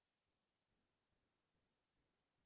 বিশেষকে ইমান পাৰগত নহয়